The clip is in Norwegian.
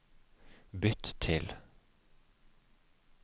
bytt til